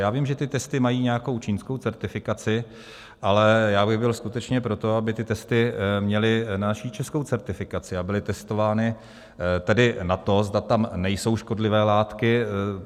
Já vím, že ty testy mají nějakou čínskou certifikaci, ale já bych byl skutečně pro to, aby ty testy měly naši českou certifikaci a byly testovány tedy na to, zda tam nejsou škodlivé látky.